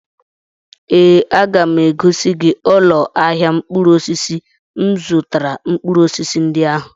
Ee, aga m egosi gị ụlọ ahịa mkpụrụ osisi m zụtara mkpụrụ osisi ndị ahụ.